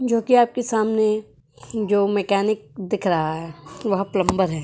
जोकि आपके सामने जो मैकेनिक दिख रहा है वह प्लंबर है।